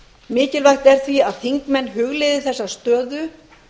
mikilvægt er því að þingmenn hugleiði þessa stöðu